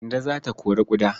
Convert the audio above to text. Kande za ta kori ƙuda.